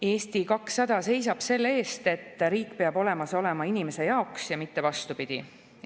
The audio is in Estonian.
Eesti 200 seisab selle eest, et riik oleks olemas inimese jaoks ja mitte vastupidi.